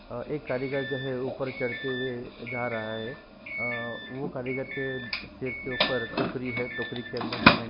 अ एक कारीगर जो है वह ऊपर चढ़ते हुए जा रहा है अअअ वो कारीगर के सिर के ऊपर टोकरी है टोकरी के अंदर सीमेंट --